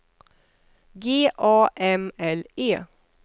G A M L E